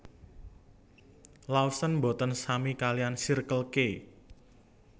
Lawson mboten sami kaliyan Circle K